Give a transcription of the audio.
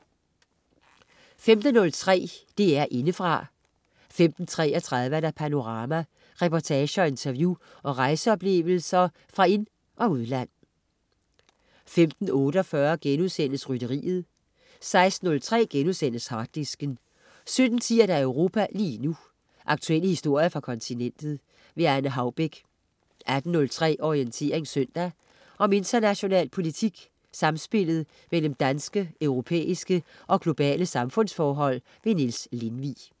15.03 DR Indefra 15.33 Panorama. Reportager, interview og rejseoplevelser fra ind, og udland. 15.48 Rytteriet* 16.03 Harddisken* 17.10 Europa lige nu. Aktuelle historier fra kontinentet. Anne Haubek 18.03 Orientering søndag. Om international politik, samspillet mellem danske, europæiske og globale samfundsforhold. Niels Lindvig